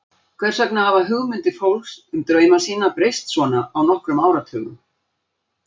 Hvers vegna hafa hugmyndir fólks um drauma sína breyst svona á nokkrum áratugum?